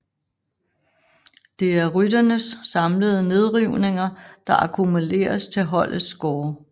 Det er rytternes samlede nedrivninger der akkumuleres til holdets score